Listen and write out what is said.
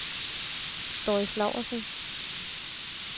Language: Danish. Doris Laursen